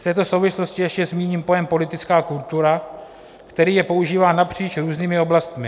V této souvislosti ještě zmíním pojem politická kultura, který je používán napříč různými oblastmi.